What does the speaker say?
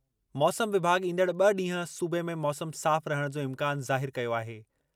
मौसम विभाॻ ईंदड़ ॿ ॾींहुं सूबे में मौसम साफ़ रहण जो इम्कानु ज़ाहिरु कयो आहे।